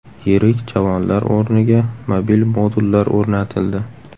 Yirik javonlar o‘rniga mobil modullar o‘rnatildi.